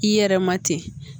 I yɛrɛ ma ten